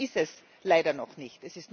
Das ist es leider noch nicht.